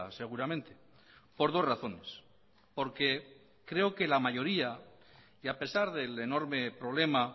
seguramente por dos razones porque creo que la mayoría y a pesar del enorme problema